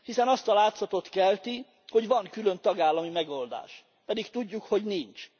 Hiszen azt a látszatot kelti, hogy van külön tagállami megoldás, pedig tudjuk, hogy nincs.